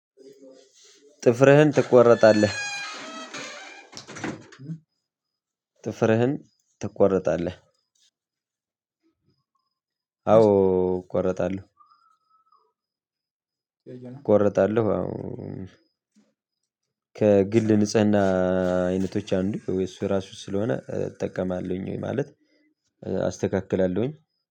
ጥፍርህን ትቆረጣለህ ጥፍርህን ትቆረጣለህ? አዎ እቆረጣለሁ እቆረጣለሁ። አው ከግል ንጽህና አይነቶች አንዱ እሱ ራሱ ስለሆነ እጠቀማለሁኝ ማለት አስተካክላለሁኝ።